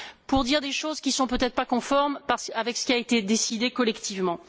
pour dire des choses qui ne sont peut être pas conformes à ce qui a été décidé collectivement.